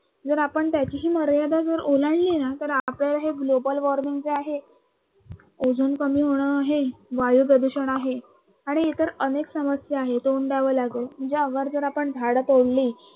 जर आपण त्याचीही मर्यादा जर ओलांडली ना तर आपल्याला हे global warming जे आहे, ओझोन कमी होणं आहे, वायू प्रदूषण आहे आणि इतर अनेक समस्या आहे तोंड द्यावे लागल म्हणजे अगर जर आपण झाडं तोडली